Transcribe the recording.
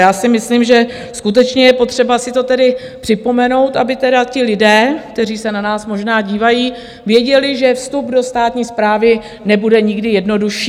Já si myslím, že skutečně je potřeba si to tedy připomenout, aby teda ti lidé, kteří se na nás možná dívají, věděli, že vstup do státní správy nebude nikdy jednodušší.